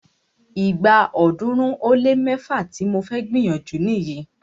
Ìgbà ọ̀ọ́dúnrún ó lé mẹ́fá tí mo fẹ́ gbìyànjú nìyí.